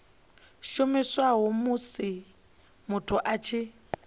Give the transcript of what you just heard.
shumiswa musi muthu a tshi